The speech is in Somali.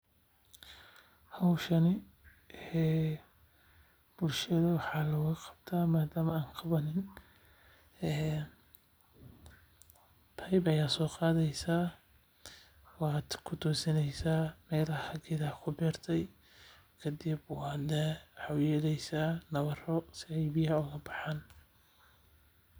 Howshan bulshada waxaa looga qabtaa nadama aan qabanin beeb ayaa soo qadeysa waxaad kutosineysa geedaha si aay ubaxaana.